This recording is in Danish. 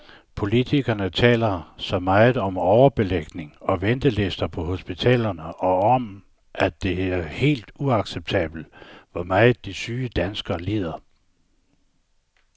Politikerne taler så meget om overbelægning og ventelister på hospitalerne og om, at det er helt uacceptabelt, hvor meget de syge danskere lider.